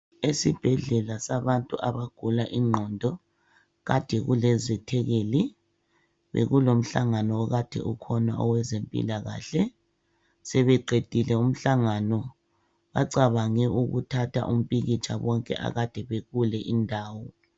Esibhedlela sabantu abagula ingqondo kade kulezethekeli. Bekulomhlangano kade ukhona owezempilakahle. Sebeqedile umhlangano bacabange ukuthatha umpikitsha bonke akade bekule indawo.